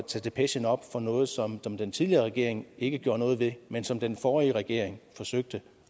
tage depechen op efter noget som den tidligere regering ikke gjorde noget ved men som den forrige regering forsøgte